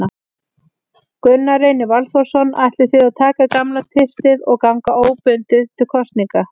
Gunnar Reynir Valþórsson: Ætlið þið að taka gamla tvistið og ganga óbundið til kosninga?